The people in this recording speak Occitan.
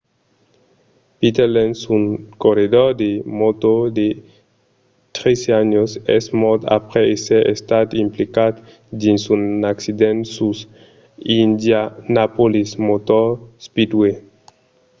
peter lenz un corredor de mòto de 13 ans es mòrt aprèp èsser estat implicat dins un accident sus l'indianapolis motor speedway